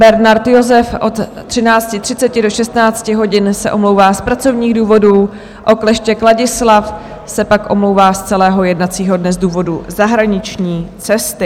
Bernard Josef od 13.30 do 16 hodin se omlouvá z pracovních důvodů, Okleštěk Ladislav se pak omlouvá z celého jednacího dne z důvodu zahraniční cesty.